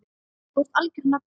Þú varst algjör nagli.